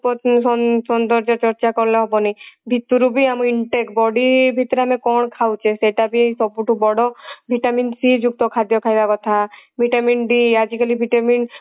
ଉପର ଉଁ ସୌନ୍ଦର୍ଯ୍ୟ ଚର୍ଚା କଲେ ହବନି ଭିତୁରୁ ବି ଆମ intake body ଭିତରେ ଆମେ କାନ ଖାଉଛେ ସେଟା ବି ସବୁ ଠୁ ବଡ vitamin c ଯୁକ୍ତ ଖାଦ୍ୟ ଖାଇବା କଥା vitamin d ଆଜିକାଲି vitamin